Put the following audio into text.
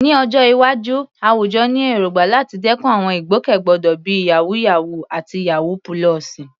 Ní ọjọ́ iwájú, àwùjọ ní èrògbà láti dẹ́kun àwọn ìgbòkègbodò bíi "yàwúyáwù" àti "yawú púlọ̀sì."